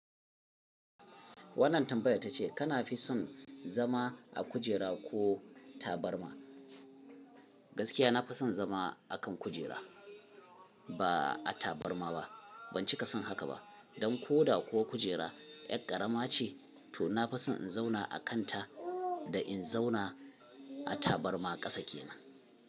Wannan tambayar ta ce kana fi son zama a kujera ko tabarma? Gaskiya na fi son zama a kan kujera ba a tabarma ba. Ban cika son haka ba. Don koda kuwa kujera yar ƙarama ce to na fi son in zauna a kanta a kan in zauna a tabarma ƙasa kenan.